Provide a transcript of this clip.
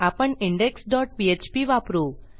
आपण index dot PHP वापरू